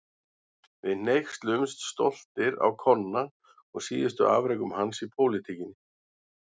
Við hneykslumst stoltir á Konna og síðustu afrekum hans í pólitíkinni.